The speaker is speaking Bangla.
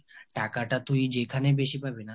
টাকাটা তুই যেইখানে বেশি পাবি না